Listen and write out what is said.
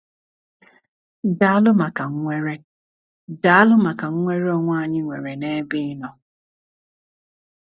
Daalụ maka nnwere Daalụ maka nnwere onwe anyị nwere n’ebe Ị nọ.